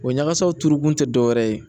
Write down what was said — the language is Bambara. O ɲagasaw turu kun tɛ dɔwɛrɛ ye